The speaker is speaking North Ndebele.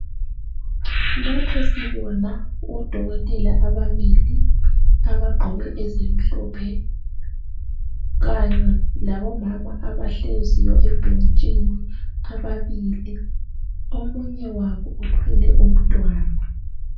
Lapha sibona odokotela ababili abagqoke ezimhlophe Kanye labo mama abahleziyo ebhentshini ababili omunye wabo uthwele umtwana